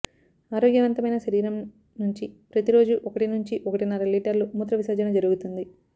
ఆరోగ్యవంతమైన శరీరం నుంచి ప్రతి రోజు ఒకటినుంచి ఒకటిన్నర లీటర్ల మూత్ర విసర్జన జరుగుతుంది